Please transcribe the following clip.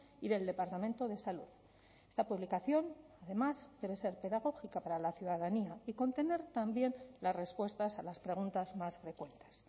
y del departamento de salud la publicación además debe ser pedagógica para la ciudadanía y contener también las respuestas a las preguntas más frecuentes